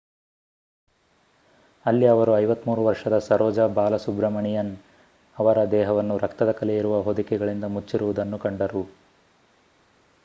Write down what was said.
ಅಲ್ಲಿ ಅವರು 53 ವರ್ಷದ ಸರೋಜ ಬಾಲಸುಬ್ರಮಣಿಯನ್ ಅವರ ದೇಹವನ್ನು ರಕ್ತದ-ಕಲೆಯಿರುವ ಹೊದಿಕೆಗಳಿಂದ ಮುಚ್ಚಿರುವುದನ್ನು ಕಂಡರು